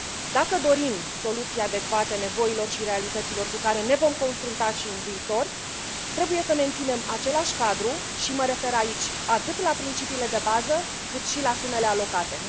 Dacă dorim soluții adecvate nevoilor și realităților cu care ne vom confrunta și în viitor, trebuie să menținem același cadru și mă refer aici atât la principiile de bază, cât și la sumele alocate